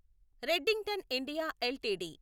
Redington India LTD